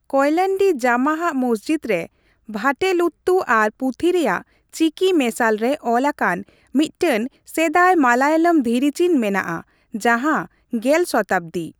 ᱠᱳᱭᱞᱟᱱᱰᱤ ᱡᱩᱢᱩ'ᱟᱦ ᱢᱚᱥᱡᱤᱫ ᱨᱮ ᱵᱷᱟᱴᱮᱞᱩᱛᱛᱩ ᱟᱨ ᱯᱩᱛᱷᱤ ᱨᱮᱭᱟᱜ ᱪᱤᱠᱤ ᱢᱮᱥᱟᱞ ᱨᱮ ᱚᱞ ᱟᱠᱟᱱ ᱢᱤᱫᱴᱟᱝ ᱥᱮᱫᱟᱭ ᱢᱟᱞᱟᱭᱟᱢ ᱫᱷᱤᱨᱤᱪᱤᱱ ᱢᱮᱱᱟᱜᱼᱟ ᱡᱟᱦᱟ ᱑᱐ ᱥᱚᱛᱟᱵᱫᱤ ᱾